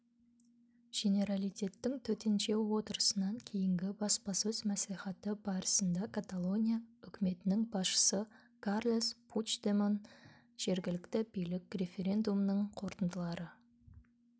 женералитеттің төтенше отырысынан кейінгі баспасөз мәслихаты барысында каталония үкіметінің басшысы карлес пучдемон жергілікті билік референдумның қорытындылары